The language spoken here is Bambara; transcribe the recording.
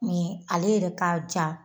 ale yɛrɛ ka ja